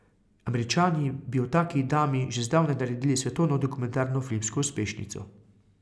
Američani bi o taki dami že zdavnaj naredili svetovno dokumentarno filmsko uspešnico.